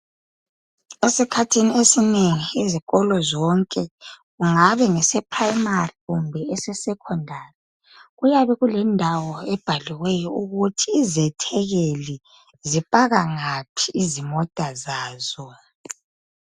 Esikhathini esinengi izikolo zonke kungabe kuprimary kumbe kuse Secondary kuyabe kulendawo ebhaliweyo ukuthi izethekeli zipaka ngaphi izimota zazo